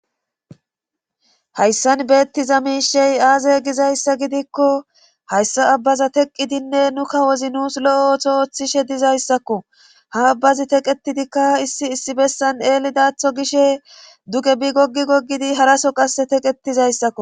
Hayssan beettiza miishey aaze gizayssa gidikko hayssa abbaza teqqidinne nu kawozi nuus lo'o ooththo ooththishshe dizayssakko ha abbazi teqetidikka issi issi bessan eelidaatho gishe duge bi gogi goggidi haraso qasse teqetizayssakko